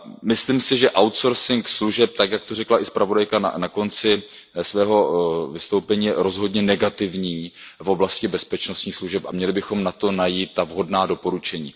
Myslím si, že outsourcing služeb, jak to řekla i zpravodajka na konci svého vystoupení, je rozhodně negativní v oblasti bezpečnostních služeb a měli bychom na to najít vhodná doporučení.